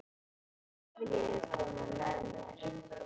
Viljiði koma með mér?